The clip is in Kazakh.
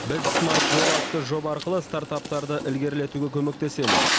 біз смарт жолы атты жоба арқылы стартаптарды ілгерілетуге көмектесеміз